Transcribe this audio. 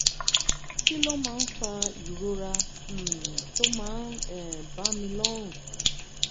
kí ló máa ń fa ìrora um tó máa ń um bá mi lọ́rùn?